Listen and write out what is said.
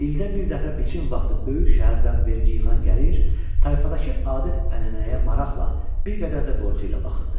İldə bir dəfə biçim vaxtı böyük şəhərdən vergi yığan gəlir, tayfadakı adət-ənənəyə maraqla, bir qədər də qorxu ilə baxırdı.